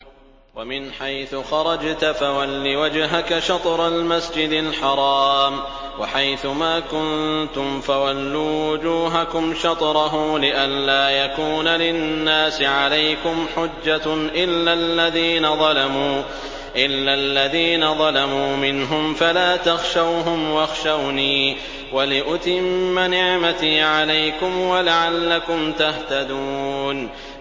وَمِنْ حَيْثُ خَرَجْتَ فَوَلِّ وَجْهَكَ شَطْرَ الْمَسْجِدِ الْحَرَامِ ۚ وَحَيْثُ مَا كُنتُمْ فَوَلُّوا وُجُوهَكُمْ شَطْرَهُ لِئَلَّا يَكُونَ لِلنَّاسِ عَلَيْكُمْ حُجَّةٌ إِلَّا الَّذِينَ ظَلَمُوا مِنْهُمْ فَلَا تَخْشَوْهُمْ وَاخْشَوْنِي وَلِأُتِمَّ نِعْمَتِي عَلَيْكُمْ وَلَعَلَّكُمْ تَهْتَدُونَ